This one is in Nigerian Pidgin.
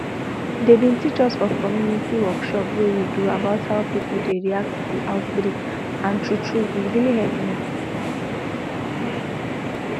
dey bin teach us for community workshop wey we do about how pipo dey react to outbreak and true true e really help me